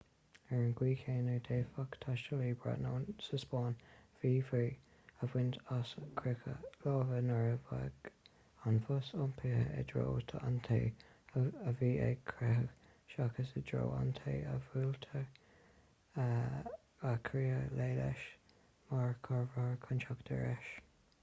ar an gcaoi chéanna d'fhéadfadh taistealaí briotanach sa spáinn míbhrí a bhaint as croitheadh láimhe nuair a bheadh an bos iompaithe i dtreo an té a bhí ag croitheadh seachas i dtreo an té a bhfuiltear ag croitheadh léi/leis mar chomhartha chun teacht ar ais